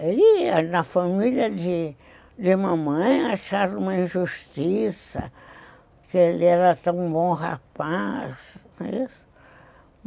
Ele, na família de mamãe, acharam uma injustiça, que ele era tão bom rapaz, não é isso?